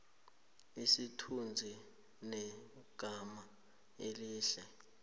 isithunzi negama elihle